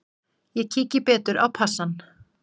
Ég kíki betur á passann.